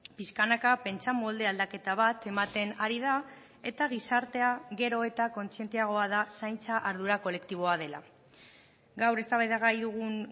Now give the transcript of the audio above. pixkanaka pentsamolde aldaketa bat ematen ari da eta gizartea gero eta kontzienteagoa da zaintza ardura kolektiboa dela gaur eztabaidagai dugun